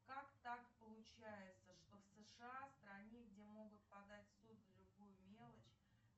как так получается что в сша в стране где могут подать в суд за любую мелочь